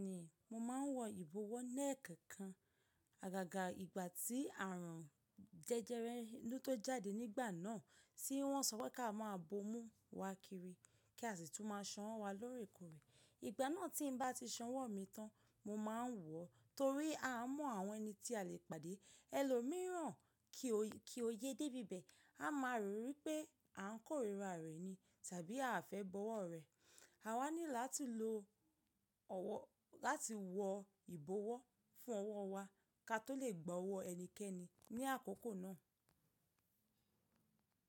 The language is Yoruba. Bẹ́ẹ̀ni, mo máa ń wọ ìbọwọ́ ni nnkan kan. Àgàgà ìgbà tí àrùn jẹjẹrẹ inú tó jáde nígbà náà, tí wọ́n sọ pé ká máa bomú wa kiri, kí a sì tún má a sanwó wa lórí ẹ̀kúnrẹ́. Ìgbà náà tí mo bá ti san owó mi tán, mo máa ń wọ, torí a mọ àwọn ẹni tí a lè pàdé. Ẹlòmíìran kí ó yẹ dé ibẹ̀, a máa rò wípé à ń kórìíra rẹ̀ ni tàbí a fẹ́ bọwọ́ rẹ̀. Àwa ní láti lo ọwọ́ láti wọ ìbọwọ́ fún ọwọ́ wa ká tó lè gbọ́ ọwọ́ ẹnikẹ́ni ní àkókò náà.